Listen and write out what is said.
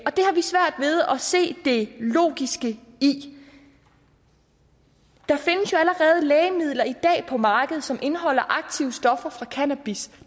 se det logiske i der findes jo allerede lægemidler i dag på markedet som indeholder aktive stoffer fra cannabis